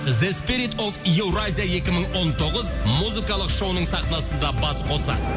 еуразия екі мың он тоғыз музыкалық шоуының сахнасында бас қосады